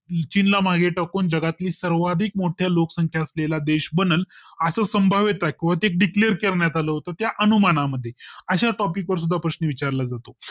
चीन ला मागे टाकून जगातील सर्वाधिक मोठ्या लोकसंख्या असलेला देश बनल अस संभाव्यता कवचीत Declare करण्यात आला होता त्या अनुमाना मध्ये अशा Topic वर सुद्धा प्रश्न विचार ला जातो